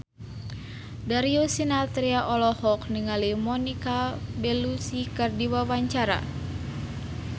Darius Sinathrya olohok ningali Monica Belluci keur diwawancara